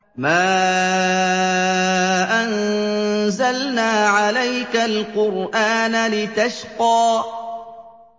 مَا أَنزَلْنَا عَلَيْكَ الْقُرْآنَ لِتَشْقَىٰ